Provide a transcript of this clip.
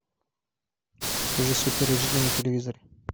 покажи супер эйч ди на телевизоре